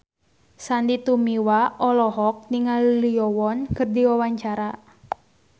Sandy Tumiwa olohok ningali Lee Yo Won keur diwawancara